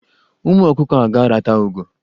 Ụmụ ọkụkọ a ga-arata ugo.